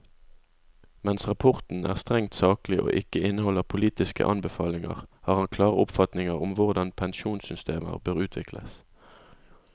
Mens rapporten er strengt saklig og ikke inneholder politiske anbefalinger, har han klare oppfatninger om hvordan pensjonssystemer bør utvikles.